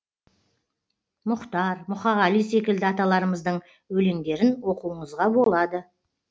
мұхтар мұқағали секілді аталарымыздың өлеңдерін оқуыңызға болады